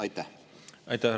Aitäh!